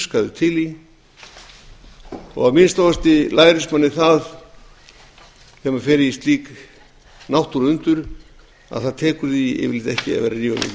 í og að minnsta kosti lærist manni það þegar maður fer í slík náttúruundur að það tekur því yfirleitt ekki að vera